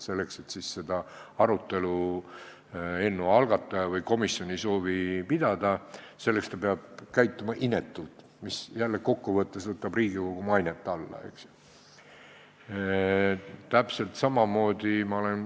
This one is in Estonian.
Kui eelnõu algataja või komisjon ei soovi seda arutelu pidada, siis ta peab käituma inetult, mis jälle kokkuvõttes võtab Riigikogu mainet alla, eks ju.